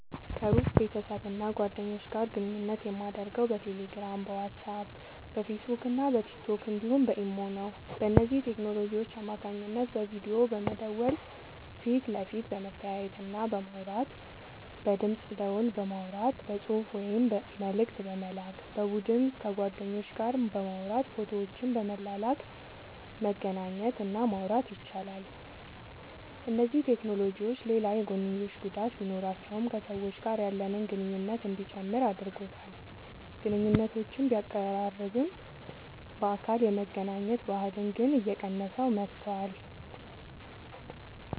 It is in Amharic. ከሩቅ ቤተሰብና ጓደኞች ጋር ግንኙነት የማደርገው በቴሌግራም፣ በዋትስአፕ፣ በፌስቡክና በቲክቶክ እንዲሁም በኢሞ ነው። በእነዚህ ቴክኖሎጂዎች አማካኝነት በቪዲዮ በመደወል ፊት ለፊት በመተያየትና በማውራት፣ በድምፅ ደወል በማውራት፣ በጽሑፍ ወይም መልእክት በመላክ፣ በቡድን ከጓደኞች ጋር በማውራት ፎቶዎችን በመላላክ መገናኘት እና ማውራት ይቻላል። እነዚህ ቴክኖሎጂዎች ሌላ የጐንዮሽ ጉዳት ቢኖራቸውም ከሰዎች ጋር ያለንን ግንኙነት እንዲጨምር አድርጎታል። ግንኙነቶችን ቢያቀራርብም፣ በአካል የመገናኘት ባህልን ግን እየቀነሰው መጥቷል።